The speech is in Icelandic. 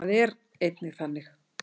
Það er enginn þannig.